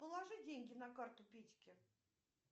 положи деньги на карту петьке